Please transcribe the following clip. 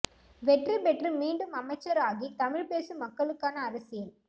வெற்றி பெற்று மீண்டும் அமைச்சர் ஆகி தமிழ் பேசும் மக்களுக்கான அரசியல்